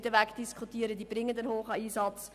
Sie leisten diesen zweifellos.